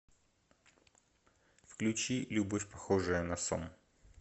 включи любовь похожая на сон